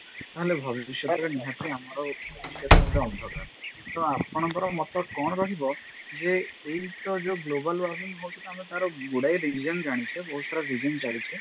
ତାହେଲେ ଭବିଷ୍ୟତରେ ନିହାତି ଆମର ଭବିଷ୍ୟତ ମଧ୍ୟ ଅନ୍ଧକାର ତ ଆପଣଙ୍କର ମତ କଣ ରହିବ ଯେ ଏଇତ ଯଉ global warming ହଉଛି ଆମେ ତାର ଗୁଡାଏ reason ଜାଣିଛେ ବହୁତ ସାରା reason ଜାଣିଛେ